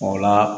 O la